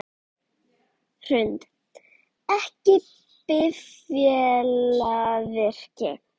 Hrund: Ekki bifvélavirki?